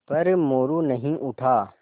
पर मोरू नहीं उठा